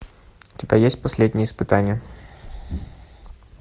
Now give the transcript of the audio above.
у тебя есть последнее испытание